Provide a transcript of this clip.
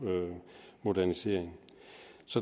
modernisering